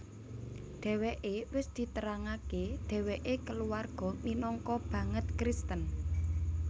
Dheweke wis diterangake dheweke kulawarga minangka banget Kristen